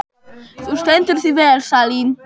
Þú stendur þig vel, Salín!